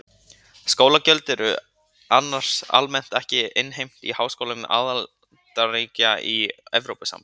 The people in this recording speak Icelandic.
Skólagjöld eru annars almennt ekki innheimt í háskólum aðildarríkja í Evrópusambandinu.